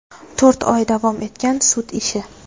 To‘rt oy davom etgan sud ishi.